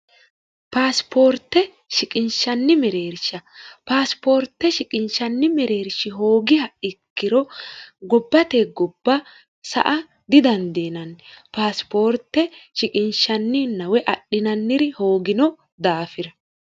paasipoorte shiqinshanni mireersha paasipoorte shiqinshanni mireershi hoogiha ikkiro gobbate gobba sa a didandiinanni paasipoorte shiqinshanninnwe adhinanniri hoogino daafira